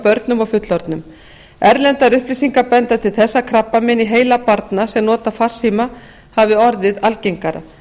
börnum og fullorðnum erlendar upplýsingar benda til þess að krabbamein í heila barna sem nota farsíma hafi orðið algengara